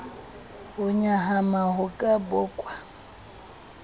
ho nyahama ho ka bakwang